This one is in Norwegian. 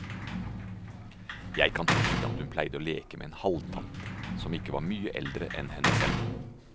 Jeg kan huske at hun pleide å leke med en halvtante som ikke var mye eldre enn henne selv.